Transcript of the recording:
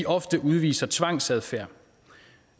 ofte udviser tvangsadfærd